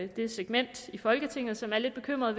det segment i folketinget som er lidt bekymret